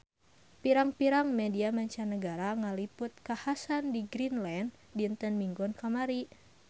Pirang-pirang media mancanagara ngaliput kakhasan di Greenland dinten Minggon kamari